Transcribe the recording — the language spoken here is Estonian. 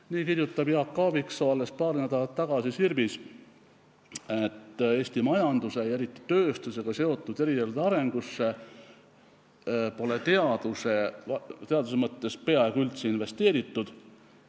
Nii kirjutas Jaak Aaviksoo alles paar nädalat tagasi Sirbis, et Eesti majanduse ja eriti tööstusega seotud erialade arengusse pole teaduse mõttes peaaegu üldse investeeritud.